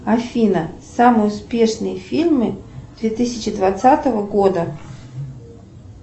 афина самые успешные фильмы две тысячи двадцатого года